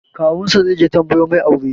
Kawun sa zai je tambayo mai aure